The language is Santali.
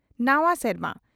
ᱱᱟᱣᱟ ᱥᱮᱨᱢᱟ ᱾